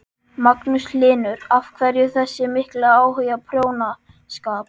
Magnús Hlynur: Af hverju þessi mikli áhugi á prjónaskap?